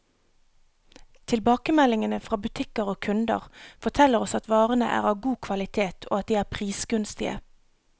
Tilbakemeldingene fra butikker og kunder, forteller oss at varene er av god kvalitet, og at de er prisgunstige.